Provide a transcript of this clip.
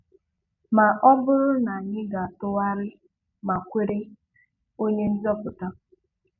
Ma ọ bụrụ na anyị ga-atụgharị ma kwere - Onye nzoputa.